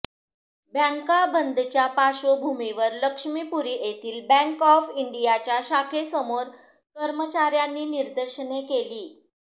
बँका बंदच्या पार्श्वभूमीवर लक्ष्मीपुरी येथील बँक ऑफ इंडियाच्या शाखेसमोर कर्मचार्यांनी निदर्शने केली